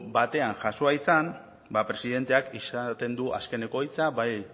batean jasoa izan ba presidenteak izaten du azkeneko hitza bai